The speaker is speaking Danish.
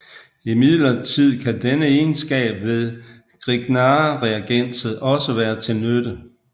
Imidlertid kan denne egenskab ved grignardreagenset også være til nytte